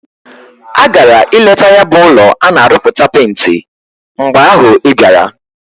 Agara ileta ya bu ulo ana aruputa penti. mgbe ahu ibiara.